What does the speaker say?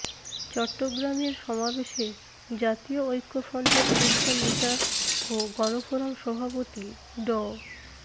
চট্টগ্রামের সমাবেশে জাতীয় ঐক্যফ্রন্টের শীর্ষ নেতা ও গণফোরাম সভাপতি ড